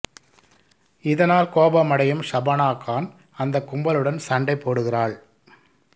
இதனால் கோபமடையும் ஷபானா கான் அந்த கும்பலுடன் சண்டை போடுகிறாள்